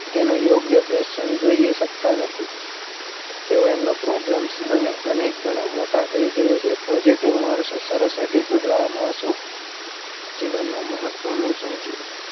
તેનો યોગ્ય passions જોઈ શકતા નથી તેઓ તેમનો problem અને અનેક ઘણા મોટા કહી જોવે છે પણ positive માણસો સરસ attitude માણસો જીવન માં મહત્વનું શું છે